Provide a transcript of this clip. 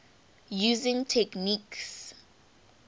using techniques